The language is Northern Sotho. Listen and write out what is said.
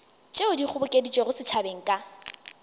tšeo di kgobokeditšwego setšhabeng ka